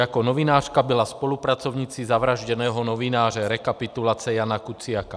Jako novinářka byla spolupracovnicí zavražděného novináře, rekapitulace Jána Kuciaka.